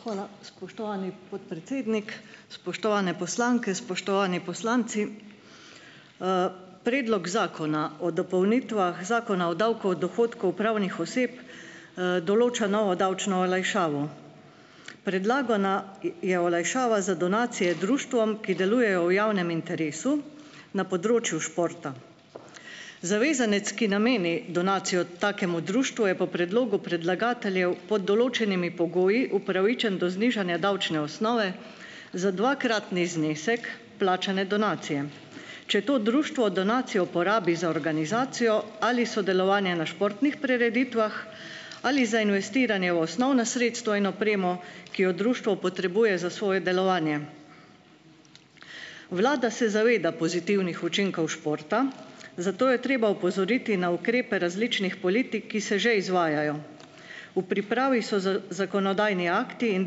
Hvala, spoštovani podpredsednik! Spoštovane poslanke, spoštovani poslanci! Predlog zakona o dopolnitvah Zakona o davku od dohodkov pravnih oseb, določa novo davčno olajšavo. Predlagana je je olajšava za donacije društvom, ki delujejo v javnem interesu, na področju športa. Zavezanec, ki nameni donacijo takemu društvu, je po predlogu predlagateljev, pod določenimi pogoji, upravičen do znižanja davčne osnove, za dvakratni znesek plačane donacije. Če to društvo donacijo uporabi za organizacijo ali sodelovanje na športnih prireditvah ali za investiranje v osnovna sredstva in opremo, ki jo društvo potrebuje za svoje delovanje. Vlada se zaveda pozitivnih učinkov športa, zato je treba opozoriti na ukrepe različnih politik, ki se že izvajajo. V pripravi so zakonodajni akti in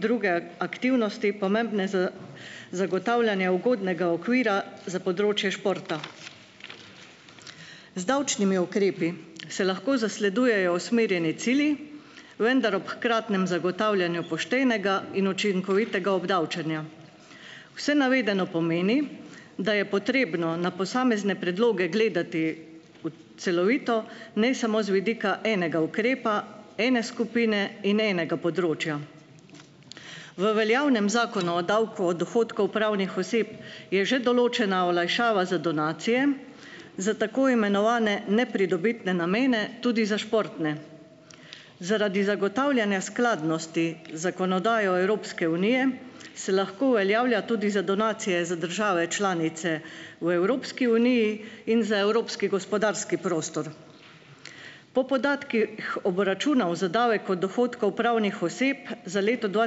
druge aktivnosti pomembne za zagotavljanje ugodnega okvira za področje športa. Z davčnimi ukrepi se lahko zasledujejo usmerjeni cilji, vendar ob hkratnem zagotavljanju poštenega in učinkovitega obdavčenja. Vse navedeno pomeni, da je potrebno na posamezne predloge gledati celovito, ne samo z vidika enega ukrepa, ene skupine in enega področja. V veljavnem zakonu o davku od dohodkov pravnih oseb je že določena olajšava za donacije, za tako imenovane nepridobitne namene, tudi za športne. Zaradi zagotavljanja skladnosti z zakonodajo Evropske unije se lahko uveljavlja tudi za donacije za države članice v Evropski uniji in za evropski gospodarski prostor. Po podatkih obračunov za davek od dohodkov pravnih oseb za leto dva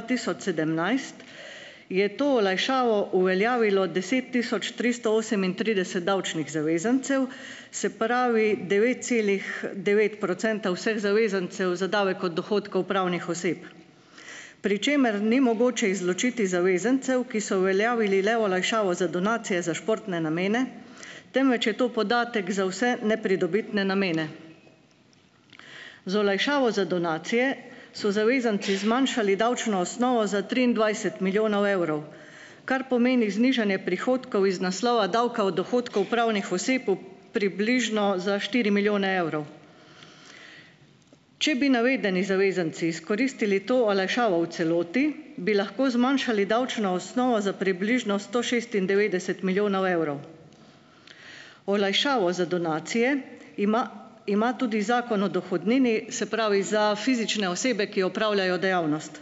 tisoč sedemnajst je to olajšavo uveljavilo deset tisoč tristo osemintrideset davčnih zavezancev, se pravi, devet celih devet procenta vseh zavezancev za davek od dohodkov pravnih oseb, pri čemer ni mogoče izločiti zavezancev, ki so uveljavili le olajšavo za donacije za športne namene, temveč je to podatek za vse nepridobitne namene. Z olajšavo za donacije so zavezanci zmanjšali davčno osnovo za triindvajset milijonov evrov, kar pomeni znižanje prihodkov iz naslova davka od dohodkov pravnih oseb v približno za štiri milijone evrov. Če bi navedeni zavezanci izkoristili to olajšavo v celoti, bi lahko zmanjšali davčno osnovo za približno sto šestindevetdeset milijonov evrov. Olajšavo za donacije ima ima tudi Zakon o dohodnini, se pravi, za fizične osebe, ki opravljajo dejavnost.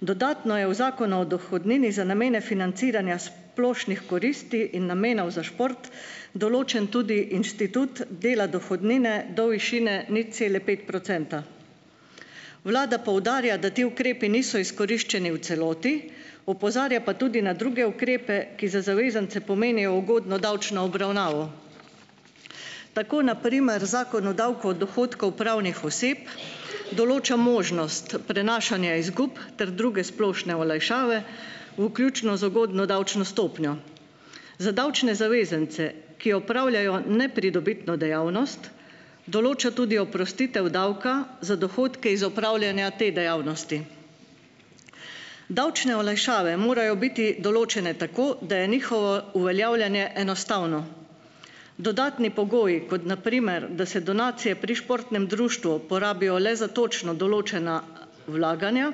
Dodatno je v Zakonu o dohodnini za namene financiranja splošnih koristi in namenov za šport določen tudi inštitut dela dohodnine do višine nič cele pet procenta. Vlada poudarja, da ti ukrepi niso izkoriščeni v celoti, opozarja pa tudi na druge ukrepe, ki za zavezance pomenijo ugodno davčno obravnavo. Tako na primer Zakon o davku od dohodkov pravnih oseb določa možnost prenašanja izgub ter druge splošne olajšave, vključno z ugodno davčno stopnjo. Za davčne zavezance, ki opravljajo nepridobitno dejavnost, določa tudi oprostitev davka za dohodke iz opravljanja te dejavnosti. Davčne olajšave morajo biti določene tako, da je njihovo uveljavljanje enostavno. Dodatni pogoji, kot na primer, da se donacije pri športnem društvu porabijo le za točno določena vlaganja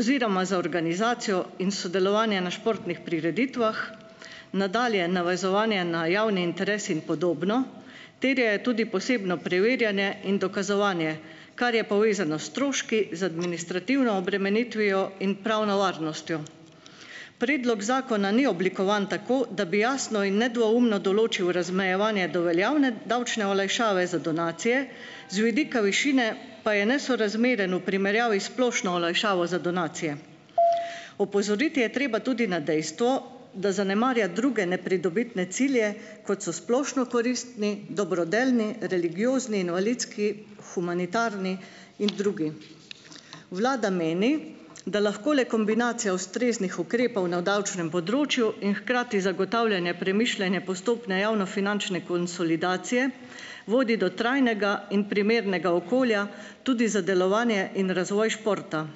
oziroma za organizacijo in sodelovanje na športnih prireditvah, nadalje navezovanje na javni interes in podobno, terjajo tudi posebno preverjanje in dokazovanje, kar je povezano s stroški, z administrativno obremenitvijo in pravno varnostjo. Predlog zakona ni oblikovan tako, da bi jasno in nedvoumno določil razmejevanje do veljavne davčne olajšave za donacije, z vidika višine pa je nesorazmeren v primerjavi s splošno olajšavo za donacije. Opozoriti je treba tudi na dejstvo, da zanemarja druge nepridobitne cilje kot so splošno koristni, dobrodelni, religiozni, invalidski, humanitarni in drugi. Vlada meni, da lahko le kombinacija ustreznih ukrepov na davčnem področju in hkrati zagotavljanje premišljene postopne javnofinančne konsolidacije vodi do trajnega in primernega okolja tudi za delovanje in razvoj športa.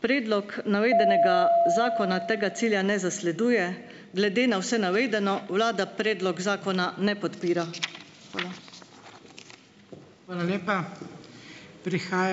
Predlog navedenega zakona tega cilja ne zasleduje, glede na vse navedeno vlada predlog zakona ne podpira. Hvala.